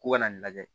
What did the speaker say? Ko ka na nin lajɛ